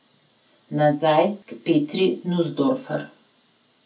Nazaj k Petri Nuzdorfer.